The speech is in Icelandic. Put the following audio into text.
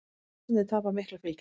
Frjálslyndir tapa miklu fylgi